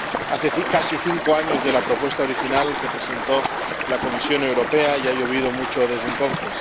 Hace casi cinco años de la propuesta original que presentó la Comisión Europea, y ha llovido mucho desde entonces.